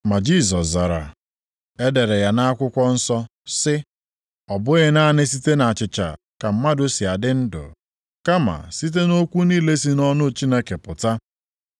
Ma Jisọs zara, “E dere ya nʼakwụkwọ nsọ sị, ‘Ọ bụghị naanị site na achịcha + 4:4 Achịcha nwere ike bụrụ nri ka mmadụ si adị ndụ, kama site nʼokwu niile si nʼọnụ Chineke pụta.’ + 4:4 Okwu a dịkwa nʼakwụkwọ \+xt Dit 8:3\+xt*. ”